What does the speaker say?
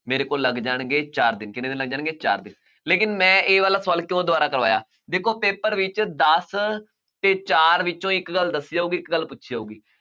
ਮੇਰੇ ਕੋਲ ਲੱਗ ਜਾਣਗੇ ਚਾਰ ਦਿਨ, ਕਿੰਨੇ ਦਿਨ ਲੱਗ ਜਾਣਗੇ ਚਾਰ ਦਿਨ ਲੇਕਿੰਨ ਮੈਂ ਇਹ ਵਾਲਾ ਸਵਾਲ ਕਿਉਂ ਦੁਬਾਰਾ ਕਰਵਾਇਆ, ਦੇਖੋ paper ਵਿੱਚ ਦਸ ਤੇ ਚਾਰ ਵਿੱਚੋਂ ਇੱਕ ਗੱਲ ਦੱਸੀ ਜਾਊਗੀ ਇੱਕ ਗੱਲ ਪੁੱਛੀ ਜਾਊਗੀ,